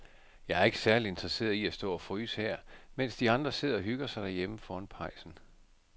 Jeg er ikke særlig interesseret i at stå og fryse her, mens de andre sidder og hygger sig derhjemme foran pejsen.